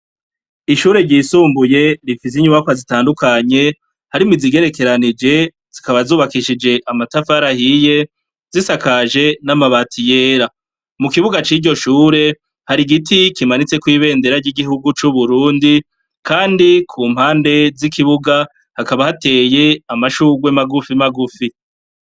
Ishure ryisumbuye rifise inyubakwa zitandukanye harimwo izigerekeranije zikaba zubakishije amatafari ahiye zisakaje n'amabati yera. Mu kibuga c'iryo shure hari igiti kimanitseko ibendera ry'igihugu c'Uburundi kandi ku mpande z'ikibuga hakaba hateye amashugwe magufimagufi.